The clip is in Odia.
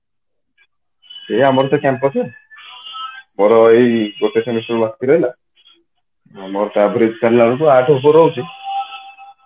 ସେ ଆମର ସେଇ campus ମୋର ଏଇ ଗୋଟେ semester ବାକି ରହିଲା ମୋର ତାପରେ ଆଠେ ଉପରେ ରହୁଛି